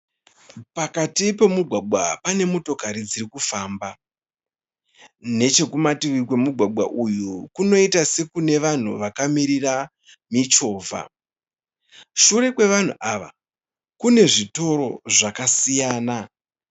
Pakati pomugwagwa pane motokari dziri kufamba. Nechekumativi kwemugwagwa uyu kunoita sekune vanhu vakamirira michovha. Shure kwevanhu ava kune zvitoro zvakasiyana.